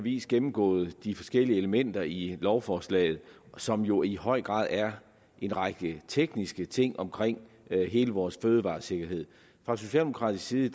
vis gennemgået de forskellige elementer i lovforslaget som jo i høj grad er en række tekniske ting omkring hele vores fødevaresikkerhed fra socialdemokratisk side